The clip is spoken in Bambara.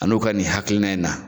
An'u ka nin hakilina in na.